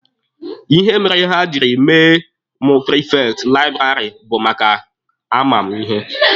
Ihe mere ha jiri mee mụ prifekti laịbụrarị bụ maka a ma mụ ihe.